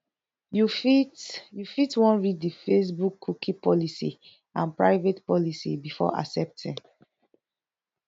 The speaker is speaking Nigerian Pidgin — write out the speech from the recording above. you fit you fit wan read di Facebook cookie policy and private policy before accepting